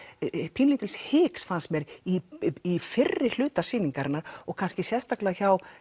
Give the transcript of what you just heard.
pínulítils hiks fannst mér í fyrri hluta sýningarinnar og kannski sérstaklega hjá